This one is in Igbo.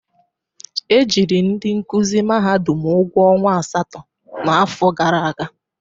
E jiri ndị nkụzi mahadum ụgwọ ọnwa asatọ n'afọ gara aga.